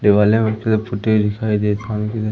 दिवाले में फोटो दिखाई दे --